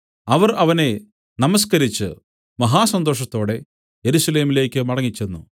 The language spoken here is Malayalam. അവർ അവനെ നമസ്കരിച്ചു മഹാസന്തോഷത്തോടെ യെരൂശലേമിലേക്കു മടങ്ങിച്ചെന്നു